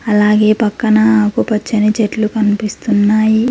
అలాగే పక్కన ఆకుపచ్చని చెట్లు కనిపిస్తున్నాయి.